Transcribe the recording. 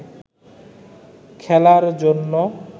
খেলার জন্য